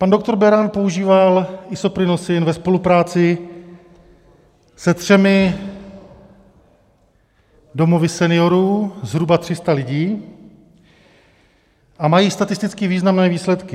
Pan doktor Beran používal Isoprinosin ve spolupráci se třemi domovy seniorů, zhruba 300 lidí, a mají statisticky významné výsledky.